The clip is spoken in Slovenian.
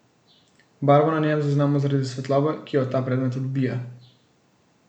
Barvo na njem zaznamo zaradi svetlobe, ki jo ta predmet odbija.